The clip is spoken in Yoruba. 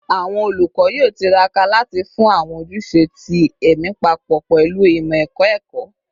Awọn olukọ yoo tiraka lati fun awọn ojuse ti ẹmi papọ pẹlu imọ-ẹkọ ẹkọ